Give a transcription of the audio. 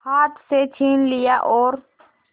हाथ से छीन लिया और